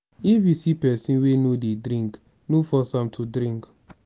if you see pesin wey no dey drink no force am to drink.